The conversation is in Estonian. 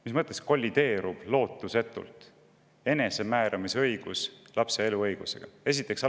Mis mõttes enesemääramisõigus kollideerub lootusetult lapse eluõigusega?